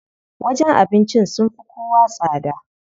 Wajen abincin sun fi kowa tsada.